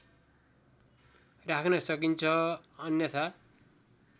राख्न सकिन्छ अन्यथा